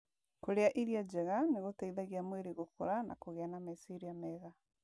Kũrĩa irio njega nĩ gũteithagia mwĩrĩ gũkũra na kũgĩa na meciria mega